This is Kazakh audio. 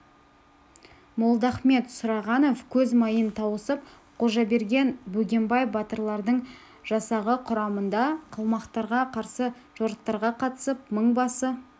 молдахмет сұрағанов көз майын тауысып қожаберген бөгенбай батырлардың жасағы құрамында қалмақтарға қарсы жорықтарға қатысып мыңбасы